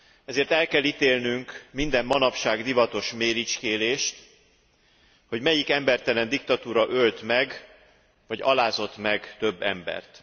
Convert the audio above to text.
Ezért el kell ítélnünk minden manapság divatos méricskélést, hogy melyik embertelen diktatúra ölt meg vagy alázott meg több embert.